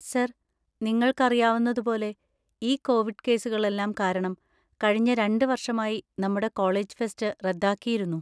Sir, നിങ്ങൾക്കറിയാവുന്നതുപോലെ, ഈ Covid കേസുകളെല്ലാം കാരണം കഴിഞ്ഞ രണ്ട്‌ വർഷമായി നമ്മുടെ കോളേജ് ഫെസ്റ്റ് റദ്ദാക്കിയിരുന്നു.